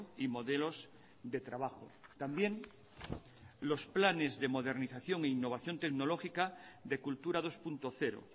y modelos de trabajo también los planes de modernización e innovación tecnológica de cultura dos punto cero